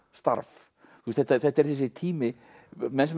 starf þetta er þessi tími menn sem